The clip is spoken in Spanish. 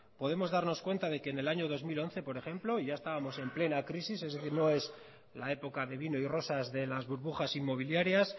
podemos darnos cuenta de que en el año dos mil once por ejemplo y ya estábamos en plena crisis es decir no es la época de vino y rosas de las burbujas inmobiliarias